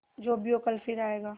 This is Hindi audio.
जो भी हो कल फिर आएगा